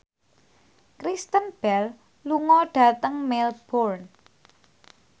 Kristen Bell lunga dhateng Melbourne